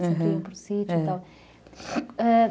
Aham, você ia para sítio e tal.